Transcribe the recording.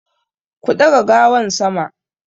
Ku daga gawan sama!